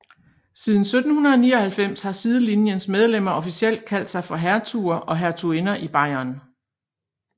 Siden 1799 har sidelinjens medlemmer officielt kaldt sig for hertuger og hertuginder i Bayern